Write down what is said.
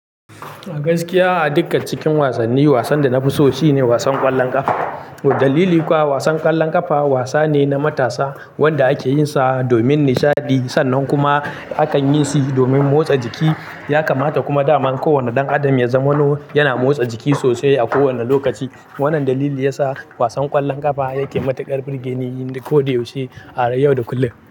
A gaskiya a dukkan cikin wasanni, wasan da na fi so shine wasan ƙwallon ƙafa. Dalili kuwa wasan ƙwallon ƙafa wasa ne na matasa wanda ake yinsa domin nishaɗi sannan kuma akan yi shi domin motsa jiki. Ya kamata kuma daman kowane ɗan adam ya zama nu yana motsa jiki sosai a kowane lokaci. Wannan dalili ya sa wasan ƙwallon ƙafa yake matuƙar birgeni ko da yaushe a yau da kullum.